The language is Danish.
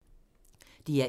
DR1